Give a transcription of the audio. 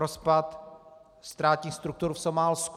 Rozpad státních struktur v Somálsku.